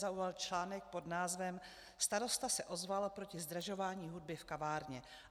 zaujal článek pod názvem "Starosta se ozval proti zdražování hudby v kavárně.